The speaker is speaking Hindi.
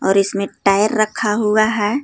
और इसमें टायर रखा हुआ है।